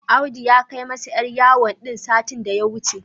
Audu ya kai masa 'yar yawon din satin da ya wuce.